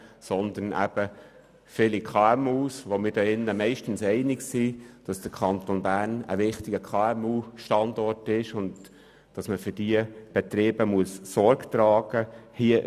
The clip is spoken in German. Hier im Grossen Rat sind wir uns meist einig, dass der Kanton Bern ein wichtiger KMU-Standort ist und man diesem für die Betriebe Sorge tragen muss.